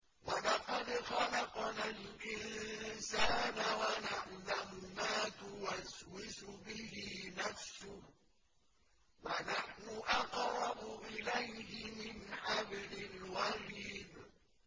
وَلَقَدْ خَلَقْنَا الْإِنسَانَ وَنَعْلَمُ مَا تُوَسْوِسُ بِهِ نَفْسُهُ ۖ وَنَحْنُ أَقْرَبُ إِلَيْهِ مِنْ حَبْلِ الْوَرِيدِ